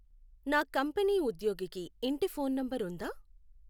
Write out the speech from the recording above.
నా కంపెనీ ఉద్యోగికి ఇంటి ఫోన్ నెంబర్ ఉందా